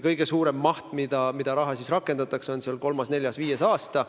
Kõige suuremas mahus rakendatakse raha kolmandal, neljandal, viiendal aastal.